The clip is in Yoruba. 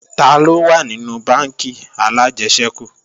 Taló wà nínú bánkì alájẹsẹ́kù